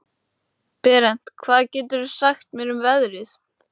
Berent, hvað geturðu sagt mér um veðrið?